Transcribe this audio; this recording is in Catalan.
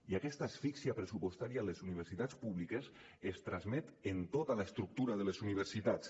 i aquesta asfíxia pressupostària a les universitats públiques es transmet a tota l’estructura de les universitats